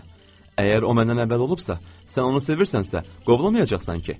Əgər o məndən əvvəl olubsa, sən onu sevirsənsə, qovlamayacaqsan ki?